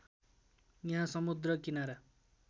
यहाँ समुद्र किनारा